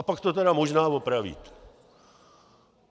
A pak to tedy možná opravíte.